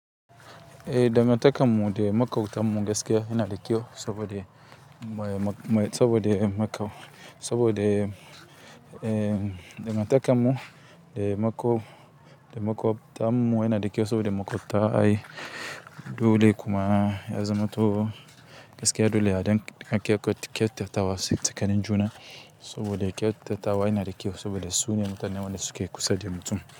Eh, dangantakar mu da maƙotan mu gaskiya yana da kyau saboda. Dangantakar mu de maƙotan mu yana da kyau saboda maƙota ai dole kuma ya zaman to gaskiya dole ake kyauta tawa tsakanin juna, saboda kyauta tawa yana da kyau saboda sune mutanen dake kusa da mutum.